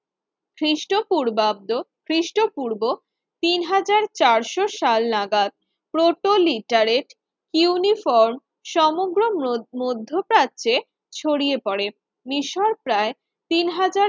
খ্রিস্টপূর্বাব্দ খ্রিস্টপূর্ব তিন হাজার চারশো সাল নাগাদ প্রোটলিটারের ইউনিফর্ম সমগ্র মধ্যপ্রাচ্ছে ছড়িয়ে পড়ে মিশর প্রায় তিন হাজার